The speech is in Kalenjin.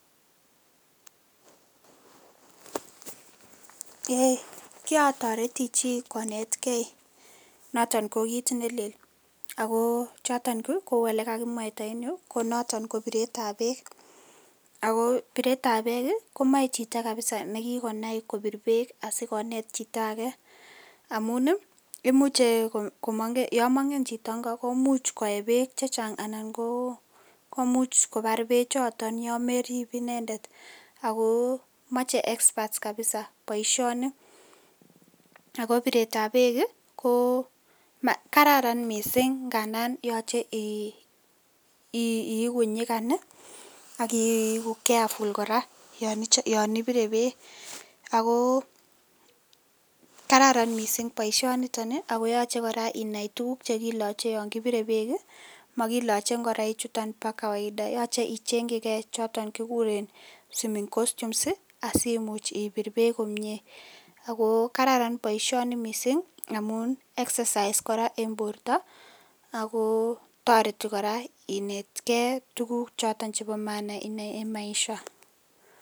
Eeii kirotoreti chii konetkei noton ko kiit nelel, ak ko kouu elekakimwaita en yuu konoton ko biretab beek ak ko biretab beek komoe chito kabisaa nekikonai kobir beek asikonet chito akee amun imuche yoon mong'en chito ng'o komuch koyee beek chechang anan komuch kobar bechoton yoon merib inendet ak ko moche experts kabisaa boishoni ak ko biretab beek ko kararan mising ng'andan yoche iiku nyikan ak iiku carefull kora yoon ibire beek ak ko kararan mising boishoniton ak koyoche inai tukuk chekiloche en yoon kibire beek, mokiloche ing'oroichuton boo kawaida yoche ichengyike choton kikuren swimming costumes asimuch ibir beek komie ak ko kararan boishoni mising amun exercise kora en borto amun kotoreti kora inetkee tukuk choton chebo maana en maisha.